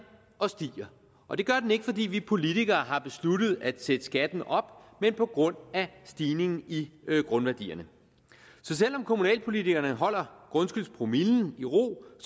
og stiger og det gør den ikke fordi vi politikere har besluttet at sætte skatten op men på grund af stigningen i grundværdierne så selv om kommunalpolitikerne holder grundskyldspromillen i ro